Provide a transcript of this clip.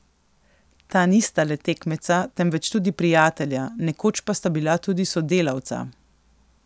Ta nista le tekmeca, temveč tudi prijatelja, nekoč pa sta bila tudi sodelavca.